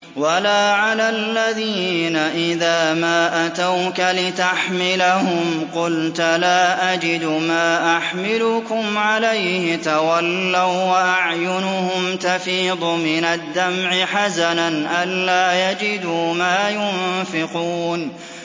وَلَا عَلَى الَّذِينَ إِذَا مَا أَتَوْكَ لِتَحْمِلَهُمْ قُلْتَ لَا أَجِدُ مَا أَحْمِلُكُمْ عَلَيْهِ تَوَلَّوا وَّأَعْيُنُهُمْ تَفِيضُ مِنَ الدَّمْعِ حَزَنًا أَلَّا يَجِدُوا مَا يُنفِقُونَ